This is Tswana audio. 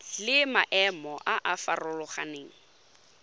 le maemo a a farologaneng